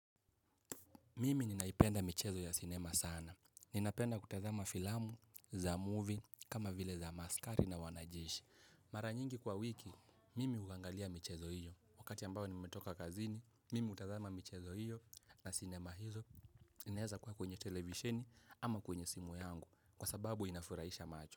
Mimi ninaipenda michezo ya sinema sana. Ninapenda kutazama filamu za movie, kama vile za maskari na wanajeshi. Mara nyingi kwa wiki, mimi huagangalia michezo hiyo. Wakati ambao nimetoka kazini, mimi hutazama michezo hiyo na sinema hizo. Inaeza kuwa kwenye televisheni ama kwenye simu yangu. Kwa sababu inafuraisha macho.